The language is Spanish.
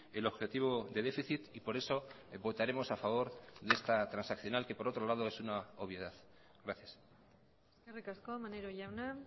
el objetivo de déficit y por eso votaremos a favor de esta transaccional que por otro lado es una obviedad gracias eskerrik asko maneiro jauna